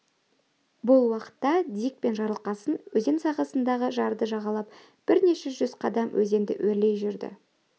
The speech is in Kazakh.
бұл уақытта дик пен жарылқасын өзен сағасындағы жарды жағалап бірнеше жүз қадам өзенді өрлей жүрді